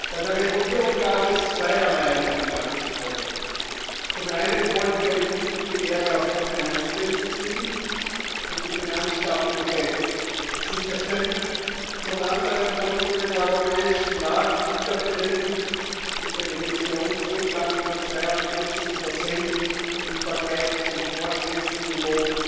Bei der Regulierung gab es zweierlei in Einklang zu bringen Zum einen wollen wir eine wichtige Lehre aus der Finanzkrise ziehen und die Finanzstabilität sicherstellen, zum anderen wollen wir den europäischen Markt wiederbeleben und den Emissionsrückgang von 42 im Vergleich zum Vorkrisenniveau